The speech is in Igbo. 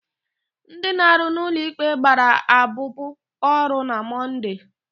Ndị na-arụ n'ụlọikpe gbara abụbụ ọrụ na Mọnde.